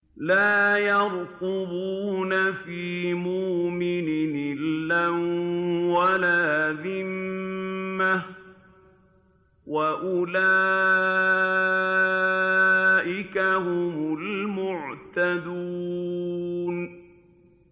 لَا يَرْقُبُونَ فِي مُؤْمِنٍ إِلًّا وَلَا ذِمَّةً ۚ وَأُولَٰئِكَ هُمُ الْمُعْتَدُونَ